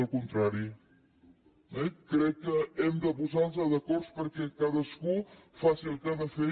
al contrari eh crec que hem de posarlos d’acord perquè cadascú faci el que ha de fer